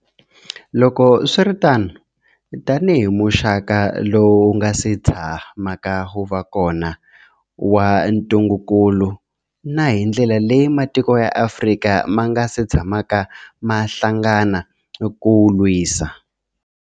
Loko swi ri tano, tanihi muxaka lowu wu nga si tshamaka wu va kona wa ntungukulu, na hi ndlela leyi matiko ya Afrika ma nga si tshamaka ma hlangana ku wu lwisa.